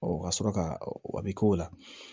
ka sɔrɔ ka a bɛ k'o la